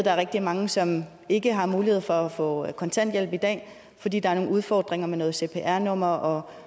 er rigtige mange som ikke har mulighed for at få kontanthjælp i dag fordi der er nogle udfordringer med nogle cpr numre